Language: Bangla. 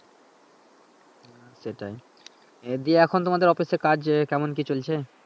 হ্যাঁ সেটাই, এ দিয়ে এখন তোমাদের অফিসের কাজ কেমন কি চলছে